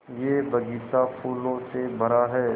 यह बग़ीचा फूलों से भरा है